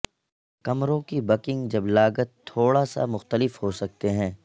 کمروں کی بکنگ جب لاگت تھوڑا سا مختلف ہو سکتے ہیں